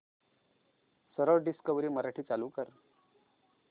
सरळ डिस्कवरी मराठी चालू कर